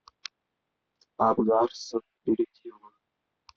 апп гарсон перейди в